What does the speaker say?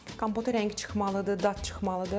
Kompotu rəngi çıxmalıdır, dad çıxmalıdır.